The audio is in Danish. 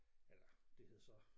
Eller det hed så